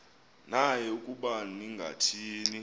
naye ukuba ningathini